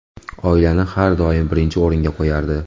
Oilani har doim birinchi o‘ringa qo‘yardi.